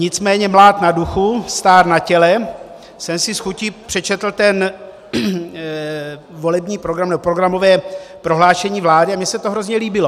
Nicméně mlád na duchu, stár na těle jsem si s chutí přečetl ten volební program nebo programové prohlášení vlády a mně se to hrozně líbilo.